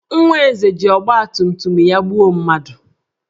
Nwa Eze ji ọgbatumtum ya gbuo mmadụ